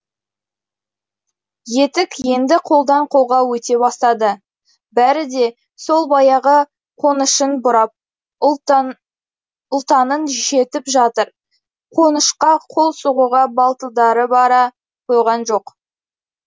етік енді қолдан қолға өте бастады бәрі де сол баяғы қонышын бұрап ұлтанын шертіп жатыр қонышқа қол сұғуға батылдары бара қойған жоқ